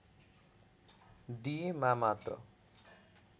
दिएमा मात्र